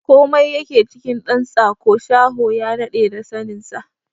Komai yake cikin ɗan tsako, shaho ya daɗe da sanin sa!